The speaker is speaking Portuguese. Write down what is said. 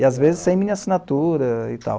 E às vezes sem minha assinatura e tal.